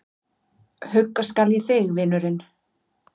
Hugga skal ég þig, vinurinn.